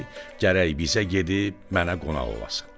gərək bizə gedib mənə qonaq olasın.